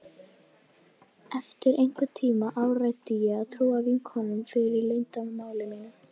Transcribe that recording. Eftir einhvern tíma áræddi ég að trúa vinkonunum fyrir leyndarmáli mínu.